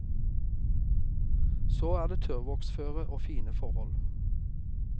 Så det er tørrvoksføre og fine forhold.